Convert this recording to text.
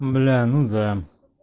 бля ну да